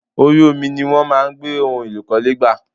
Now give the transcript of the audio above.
Orí omi ní wọ́n máa ń gbé ohun èlò ìkọ́lé gbà.